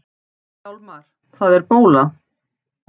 Hjálmar, það er bóla!